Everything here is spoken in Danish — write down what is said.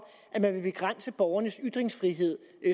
at man vil begrænse borgernes ytringsfrihed